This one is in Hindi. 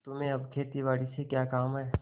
तुम्हें अब खेतीबारी से क्या काम है